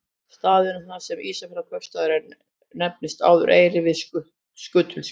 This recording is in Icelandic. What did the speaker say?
Staðurinn þar sem Ísafjarðarkaupstaður er nefndist áður Eyri við Skutulsfjörð.